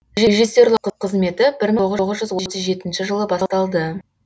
режиссерлік кызметі бір мың тоғыз жүз отыз жетінші жылы басталды